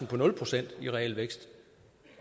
på nul procent